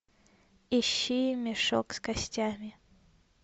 ищи мешок с костями